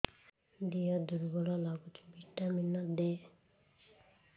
ଦିହ ଦୁର୍ବଳ ଲାଗୁଛି ଭିଟାମିନ ଦେ